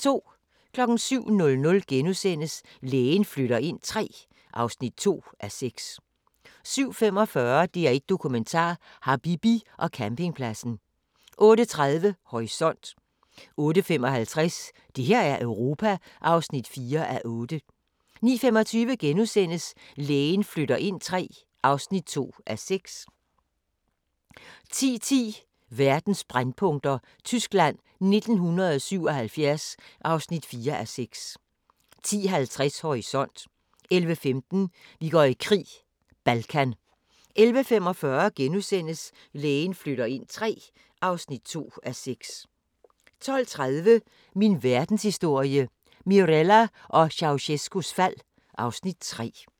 07:00: Lægen flytter ind III (2:6)* 07:45: DR1 Dokumentar: Habibi og campingpladsen 08:30: Horisont 08:55: Det her er Europa (4:8) 09:25: Lægen flytter ind III (2:6)* 10:10: Verdens brændpunkter: Tyskland 1977 (4:6) 10:50: Horisont 11:15: Vi går i krig: Balkan 11:45: Lægen flytter ind III (2:6)* 12:30: Min Verdenshistorie – Mirella og Ceaucescaus fald (Afs. 3)